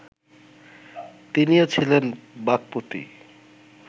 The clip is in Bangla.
তিনিও ছিলেন বাক্পতি